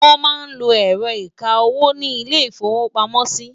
wón má ló ẹrọ ìká owó ní ilè ifowo pàmò sí